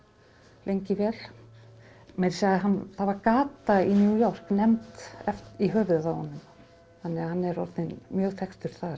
lengi vel meira að segja það var gata í New York nefnd í höfuðið á honum þannig að hann er orðinn mjög þekktur þar